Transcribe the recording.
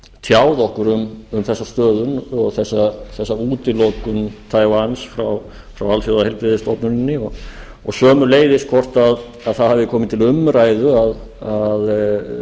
tjáð okkur um þessa stöðu og þessa útilokun taiwan frá alþjóðaheilbrigðisstofnuninni og sömuleiðis hvort það hafi komið til umræðu að